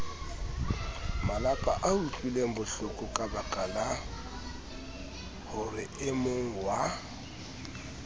malapaa utlwilengbohloko kabaka la horeemongwa